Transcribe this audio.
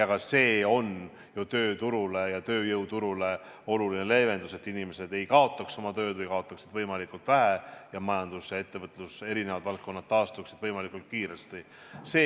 Ka see on ju tööjõuturule oluline leevendus, et inimesed ei kaota oma tööd või kaotavad võimalikult vähe ning majanduse ja ettevõtluse eri valdkonnad taastuvad võimalikult kiiresti.